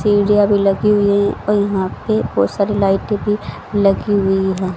सीढ़ियां भी लगी हुई हैं यहां पे बहोत सारी लाइटें भी लगी हुई हैं।